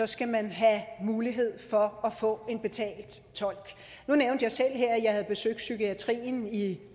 skal man have mulighed for at få en betalt tolk nu nævnte jeg selv her at jeg havde besøgt psykiatrien i